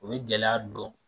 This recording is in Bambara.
O ye gɛlɛya dɔn